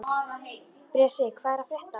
Bresi, hvað er að frétta?